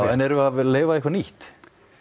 en erum við að leyfa eitthvað nýtt